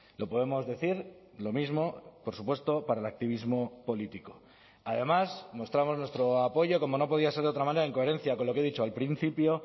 lo podemos decir lo mismo por supuesto para el activismo político además mostramos nuestro apoyo como no podía ser de otra manera en coherencia con lo que he dicho al principio